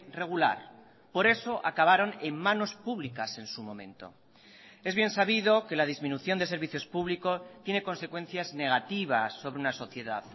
regular por eso acabaron en manos públicas en su momento es bien sabido que la disminución de servicios públicos tiene consecuencias negativas sobre una sociedad